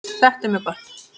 Þetta er mjög gott.